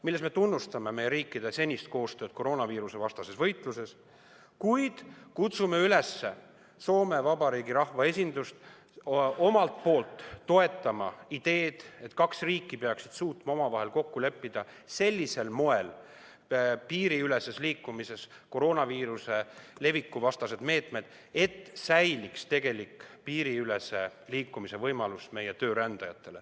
Selles me tunnustame meie riikide senist koostööd koroonaviirusevastases võitluses, kuid kutsume Soome Vabariigi rahvaesindust üles omalt poolt toetama ideed, et kaks riiki peaksid suutma piiriüleses liikumises koroonaviiruse leviku vastased meetmed omavahel kokku leppida sellisel moel, et meie töörändajatel säiliks tegelik piiriülese liikumise võimalus.